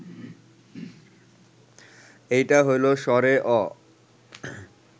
এইটা হইল স্বরে অ